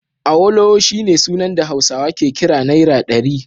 Awolowo shine sunan da Hausawa ke kira Naira ɗari